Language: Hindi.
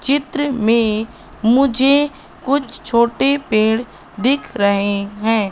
चित्र में मुझे कुछ छोटे पेड़ दिख रहे हैं।